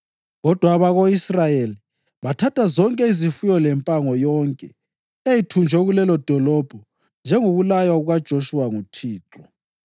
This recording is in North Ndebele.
Kodwa abako-Israyeli bathatha zonke izifuyo lempango yonke eyayithunjwe kulelodolobho njengokulaywa kukaJoshuwa nguThixo.